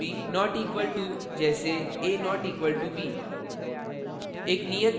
not equal to के बराबर नहीं: जैसे a! = b